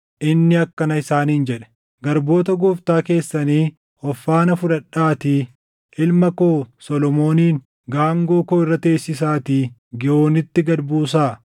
inni akkana isaaniin jedhe: “Garboota gooftaa keessanii of faana fudhadhaatii ilma koo Solomoonin gaangoo koo irra teessisaatii Giihoonitti gad buusaa.